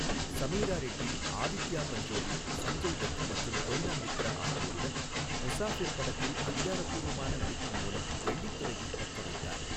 சமீரா ரெட்டி, ஆதித்யா பஞ்சோலி, சஞ்சய் தத் மற்றும் கொய்னா மித்ரா ஆகியோருடன் முசாஃபிர் படத்தில் அதிகாரப்பூர்வமான நடிப்பின் மூலம் வெள்ளித்திரையை பற்றவைத்தார்.